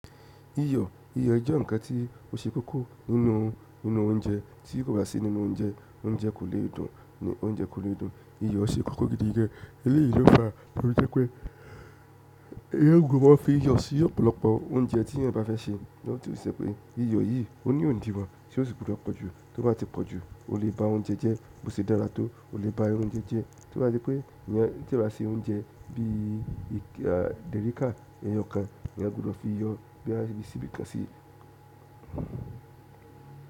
Iyọ, iyọ jẹ́ ǹkan tí ó ṣe kókó nínú, nínú oúnjẹ tí kò bá sí nínú oúnjẹ, oúnjẹ kò lè dùn, oúnjẹ kò lè dùn. Iyọ̀ ṣe kókó gidi gan. Eléyìí ló fàá tó fi jẹ́ pé èèyàn gbọdọ̀ mọ́ fi iyọ̀ sí ọ̀pọ̀lọpọ̀ oúnjẹ tí èèyàn bá fẹ́ sè, ní ọ̀tú ìṣe pé iyọ yìí ó ní òdiwọ̀n tí ó sì gbúdọ̀ pọ̀jù, tó bá ti pọ̀jù o lè ba oúnjẹ jẹ́ bó ṣe dára tó, o lè ba oúnjẹ jẹ́. Tó bá se pé èèyàn tí ó bá se oúnjẹ bí i dẹ̀ríká ẹyọkan-an, èèyàn gbúdọ̀ fi iyọ bóyá bí síbí kan sí i.